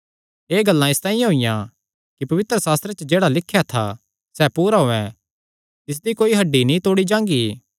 एह़ गल्लां इसतांई होईयां कि पवित्रशास्त्रे च जेह्ड़ा लिख्या था सैह़ पूरा होयैं तिसदी कोई हड्डी नीं तोड़ी जांगी